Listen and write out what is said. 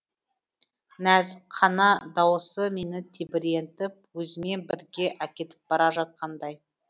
нәзік қана дауыс мені тебірентіп өзімен бірге әкетіп бара жатқандай